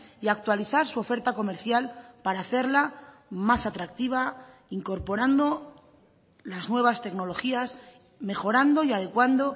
y actualizar su oferta comercial para hacerla más atractiva incorporando las nuevas tecnologías mejorando y adecuando